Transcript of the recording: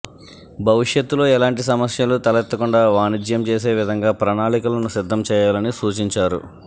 భవిష్యత్తులో ఎలాంటి సమస్యలు తలెత్తకుండా వాణిజ్యం చేసే విధంగా ప్రణాళికలను సిద్ధం చేయాలని సూచించారు